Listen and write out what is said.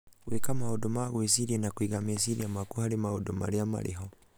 Gwĩka maũndũ ma gwĩciria na kũiga meciria maku harĩ maũndũ marĩa marĩ ho